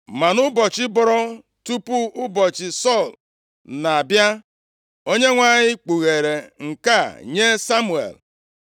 Ma nʼụbọchị bọrọ tupu ụbọchị Sọl na-abịa, Onyenwe anyị kpughere nke a nye Samuel.